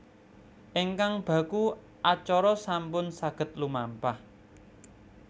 Ingkang baku acara sampun saged lumampah